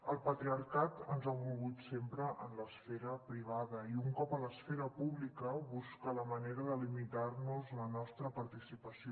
el patriarcat ens ha volgut sempre en l’esfera privada i un cop a l’esfera pública busca la manera de limitar nos la nostra participació